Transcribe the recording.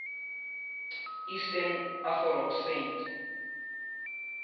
eastern orthodox saints